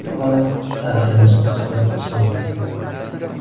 Avvalo ta’ziyamizni qabul qilsangiz.